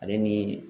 Ale ni